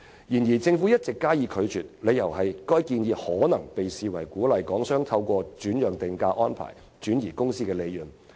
然而，政府一直加以拒絕，理由是這項建議可能會被視為鼓勵港商透過轉讓定價安排來轉移公司利潤。